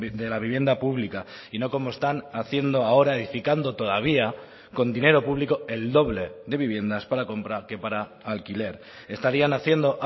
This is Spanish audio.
de la vivienda pública y no como están haciendo ahora edificando todavía con dinero público el doble de viviendas para comprar que para alquiler estarían haciendo